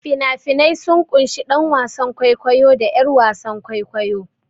Fina-finai sun ƙunshi ɗan wasan kwaikwayo da 'yar wasan kwaikwayo.